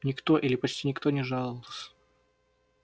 никто или почти никто не жаловался